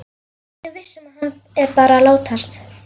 Hún er viss um að hann er bara að látast.